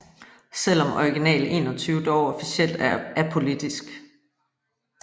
Selvom Original 21 dog officielt er apolitisk